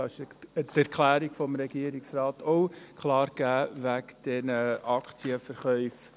Dies ist durch die Erklärung des Regierungsrates auch klar gegeben: wegen der Aktienverkäufe.